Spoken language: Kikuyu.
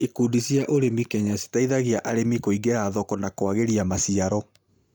Ikundi cĩa ũrĩmi Kenya cĩteithagia arĩmi kũingĩra thoko na kuagĩria maciaro